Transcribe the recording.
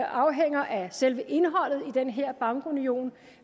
afhænger af selve indholdet den her bankunion